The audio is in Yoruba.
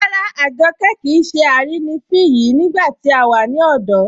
Ràrà, Àjọ́kẹ kíì ṣè àrínifín yìí nígbà tí a wà ní ọ̀dọ̀